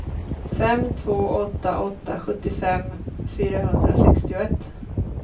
fem två åtta åtta sjuttiofem fyrahundrasextioett